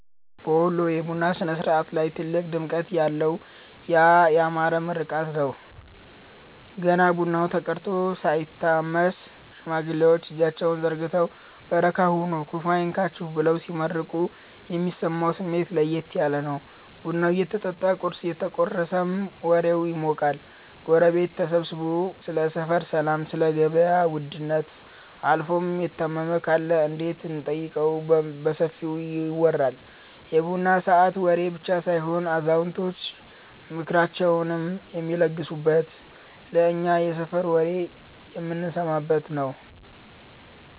በወሎ የቡና ሥነ-ሥርዓት ላይ ትልቁ ድምቀት ያ ያማረው ምርቃት ነው። ገና ቡናው ተቀድቶ ሳይታመስ፣ ሽማግሌዎች እጃቸውን ዘርግተው "በረካ ሁኑ፤ ክፉ አይንካችሁ" ብለው ሲመርቁ የሚሰማው ስሜት ለየት ያለ ነው። ቡናው እየጠጣ ቁርስ እየተቆረሰም ወሬው ይሞቃል። ጎረቤት ተሰብስቦ ስለ ሰፈር ሰላም፣ ስለ ገበያ ውድነት አልፎም የታመመ ካለ እንዴት እንደምንጠይቀው በሰፊው ይወራል። የቡና ሰዓት ወሬ ብቻ ሳይሆን አዛውንቶች ምክራቸውን የሚለግሱበት፤ እኛም የሰፈር ወሬ የምንሰማበት ነዉ።